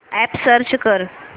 app search कर